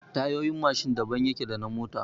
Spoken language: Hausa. Tayoyin Mashin daban yake da na mota